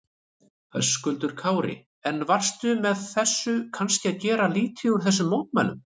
Höskuldur Kári: En varstu með þessu kannski að gera lítið úr þessum mótmælum?